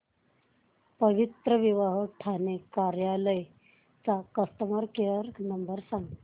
पवित्रविवाह ठाणे कार्यालय चा customer care number सांग